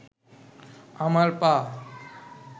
আমার পা